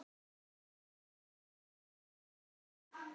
Mikið ertu sætur.